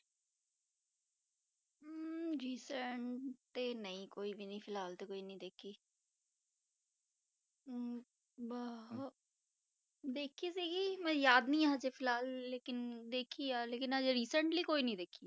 ਹਮ recent ਤੇ ਨਹੀਂ ਕੋਈ ਵੀ ਫਿਲਹਾਲ ਤੇ ਕੋਈ ਨੀ ਦੇਖੀ ਹਮ ਬਾਹ~ ਵੇਖੀ ਸੀਗੀ ਮੈਨੂੰ ਯਾਦ ਨੀ ਹਜੇ ਫਿਲਹਾਲ ਲੇਕਿੰਨ ਵੇਖੀ ਆ ਲੇਕਿੰਨ ਹਜੇ recently ਕੋਈ ਨੀ ਦੇਖੀ